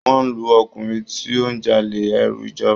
Wọ́n ń lu ọkùnrin tí ó ń jalè ẹrú ìjọba.